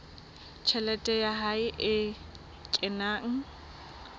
tjhelete ya hae e kenang